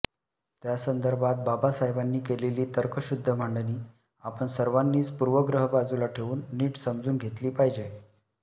त्या संदर्भात बाबासाहेबांनी केलेली तर्कशुद्ध मांडणी आपण सर्वानीच पूर्वग्रह बाजूला ठेवून नीट समजून घेतली पाहिजे